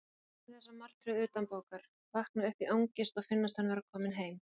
Hann kunni þessa martröð utanbókar: vakna upp í angist og finnast hann vera kominn heim.